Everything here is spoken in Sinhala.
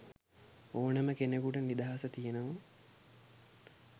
ඕනෙම කෙනෙකුට නිදහස තියනව.